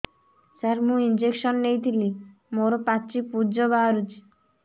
ସାର ମୁଁ ଇଂଜେକସନ ନେଇଥିଲି ମୋରୋ ପାଚି ପୂଜ ବାହାରୁଚି